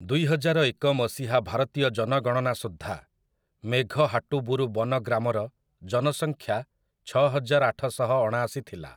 ଦୁଇହଜାରଏକ ମସିହା ଭାରତୀୟ ଜନଗଣନା ସୁଦ୍ଧା, ମେଘହାଟୁବୁରୁ ବନ ଗ୍ରାମର ଜନସଂଖ୍ୟା ଛଅହଜାର ଆଠଶହଅଣାଶି ଥିଲା ।